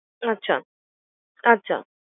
আচ্ছা আচ্ছা